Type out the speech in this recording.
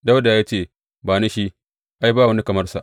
Dawuda ya ce, Ba ni shi, ai, ba wani kamar sa.